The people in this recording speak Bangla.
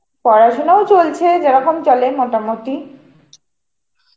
পড়াশোনাও চলছে, যেরকম চলে মোটামুটি.